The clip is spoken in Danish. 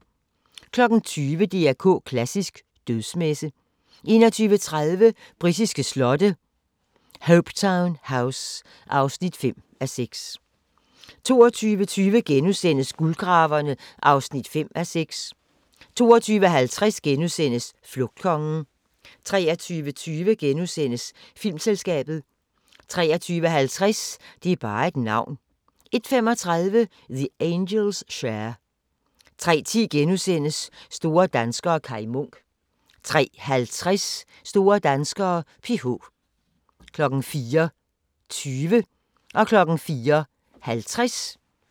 20:00: DR K Klassisk: Dødsmesse 21:30: Britiske slotte: Hopetoun House (5:6) 22:20: Guldgraverne (5:6)* 22:50: Flugtkongen * 23:20: Filmselskabet * 23:50: Det er bare et navn 01:35: The Angels' Share 03:10: Store danskere - Kai Munk * 03:50: Store danskere: PH 04:20: Hvornår var det nu, det var? (søn og tir)